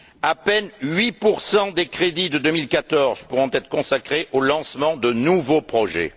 À peine 8 des crédits de 2014 pourront être consacrés au lancement de nouveaux projets.